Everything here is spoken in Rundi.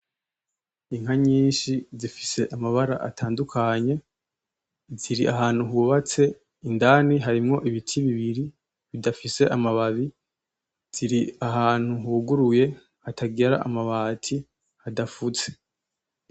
Inka nyinshi zifise amabara atandukanye, ziri ahantu hubatse, indani harimwo ibiti bibiri bidafise amababi, ziri ahantu huguruye hatagira amabati; hadafutse.